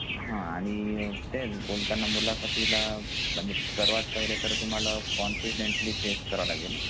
हा आणि तेच बोलताना मुलाखातील सर्वात पहिले तर तुम्हाला कॉन्फिडेंटली फेस करावं लागेल